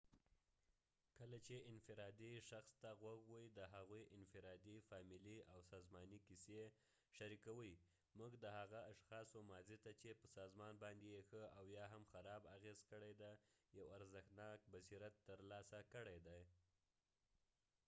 کله چې انفرادي شخص ته غوږ وۍ د هغوي انفرادي ،فامیلی او سازمانی قیصی شریکوي موږ د هغه اشخاصو ماضی ته چې په سازمان باندي یې ښه او یا هم خراب اغیز کړي دي یو ارزښتناک بصیرت تر لاسه کړي دي